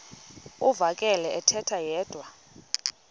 uvakele ethetha yedwa